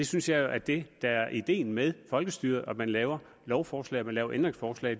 synes jo at det der er ideen med folkestyret er at man laver lovforslag og laver ændringsforslag